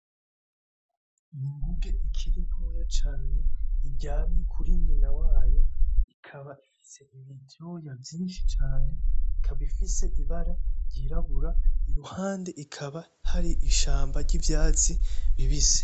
Inguge ikiri ntoya cane iryamye kuri nyina wayo, ikaba ifise ivyoya vyinshi cane ikaba ifise ibara ry'irabura. Iruhande hakaba hari ishamba ry'ivyatsi ribisi.